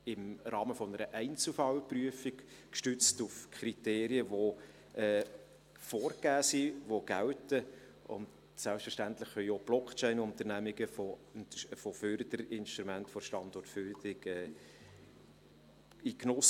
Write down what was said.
Dies im Rahmen einer Einzelfallprüfung gestützt auf Kriterien, die vorgegeben sind, die gelten, und selbstverständlich können auch die Blockchain-Unternehmungen in den Genuss von Förderinstrumenten der Standortförderung kommen.